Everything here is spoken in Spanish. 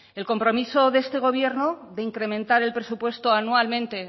el compromiso de este gobierno de incrementar el presupuesto anualmente